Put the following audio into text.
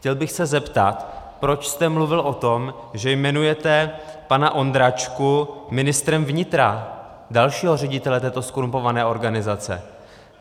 Chtěl bych se zeptat, proč jste mluvil o tom, že jmenujete pana Ondračku ministrem vnitra, dalšího ředitele této zkorumpované organizace.